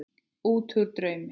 Útúr draumi.